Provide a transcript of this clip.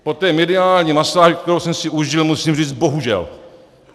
Po té mediální masáži, kterou jsem si užil, musím říct bohužel.